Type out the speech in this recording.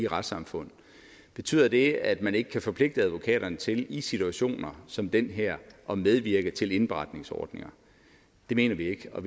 retssamfund betyder det at man ikke kan forpligte advokaterne til i situationer som den her at medvirke til indberetningsordninger det mener vi ikke og